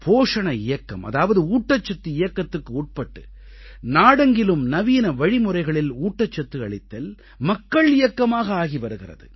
போஷண இயக்கம் அதாவது ஊட்டச்சத்து இயக்கத்துக்கு உட்பட்டு நாடெங்கிலும் நவீன வழிமுறைகளில் ஊட்டச்சத்து அளித்தல் மக்கள் இயக்கமாக ஆகி வருகிறது